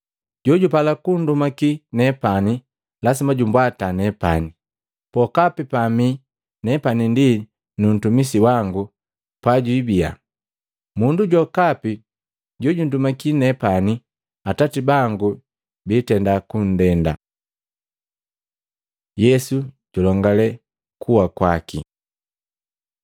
Jojupala kundumaki nepani lasima jumbwata neepani, pokapi pamii nepani ndi nuntumisi wangu pajwiibia. Mundu jokapi jojundumaki neepani Atati bangu biitenda kundenda.” Yesu julongale kuwa kwaki